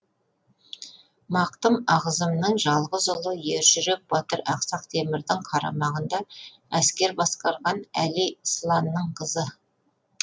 мақтым ағзымның жалғыз ұлы ержүрек батыр ақсақ темірдің қарамағында әскер басқарған әли сланның қызы